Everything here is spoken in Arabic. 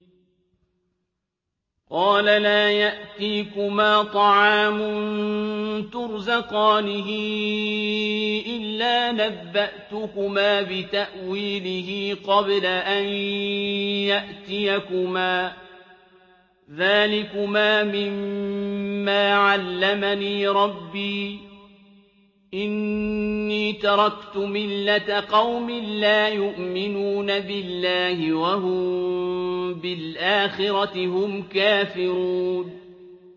قَالَ لَا يَأْتِيكُمَا طَعَامٌ تُرْزَقَانِهِ إِلَّا نَبَّأْتُكُمَا بِتَأْوِيلِهِ قَبْلَ أَن يَأْتِيَكُمَا ۚ ذَٰلِكُمَا مِمَّا عَلَّمَنِي رَبِّي ۚ إِنِّي تَرَكْتُ مِلَّةَ قَوْمٍ لَّا يُؤْمِنُونَ بِاللَّهِ وَهُم بِالْآخِرَةِ هُمْ كَافِرُونَ